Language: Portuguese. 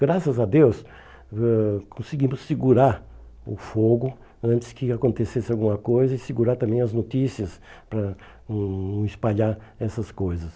Graças a Deus, eh conseguimos segurar o fogo antes que acontecesse alguma coisa e segurar também as notícias para não não espalhar essas coisas.